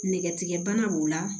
Nɛgɛtigɛbana b'o la